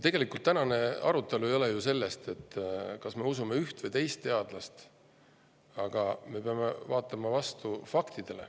Tänane arutelu ei ole ju sellest, kas me usume üht või teist teadlast, aga me peame vaatama fakte.